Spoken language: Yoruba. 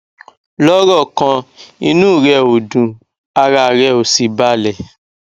lọrọ kan inú rẹ ò dùn ara rẹ ò sì bàlẹ